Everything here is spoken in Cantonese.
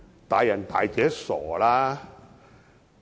"大人大姐"，別傻了。